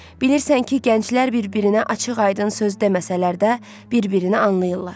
Bilirsən ki, gənclər bir-birinə açıq-aydın söz deməsələr də, bir-birini anlayırlar.